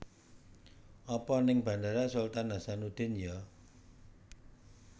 Apa ning Bandara Sultan Hassanudin yo?